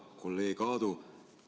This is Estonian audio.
Hea kolleeg Aadu!